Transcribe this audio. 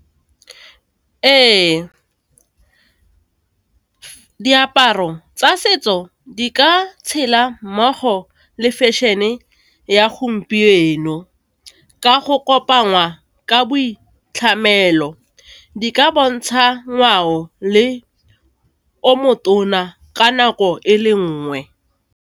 Ee, diaparo tsa setso di ka tshela mmogo le fashion-e ya gompieno, ka go kopangwa ka boitlhamelo, di ka bontsha ngwao le ka nako e le nngwe.